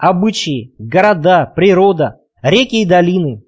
обычаи города природа реки и долины